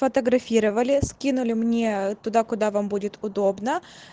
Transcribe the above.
фотографировали скинули мне туда куда вам будет удобно